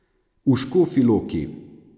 V Škofji Loki.